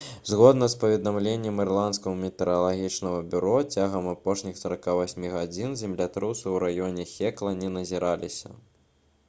згодна з паведамленнем ісландскага метэаралагічнага бюро цягам апошніх 48 гадзін землятрусы ў раёне хекла не назіраліся